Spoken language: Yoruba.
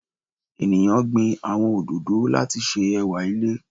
Eniyan gbin awọn ododo lati ṣe ẹwa ile